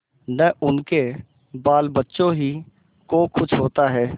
न उनके बालबच्चों ही को कुछ होता है